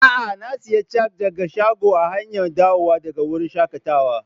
Aa, na siya cak daga shagon a hanya dawowa daga wurin shakatawan.